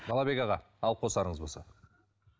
балабек аға алып қосарыңыз болса